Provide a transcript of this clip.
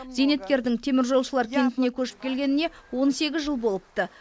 зейнеткердің теміржолшылар кентіне көшіп келгеніне он сегіз жыл болыпты